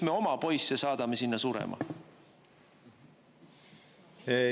Miks me oma poisse saadame sinna surema?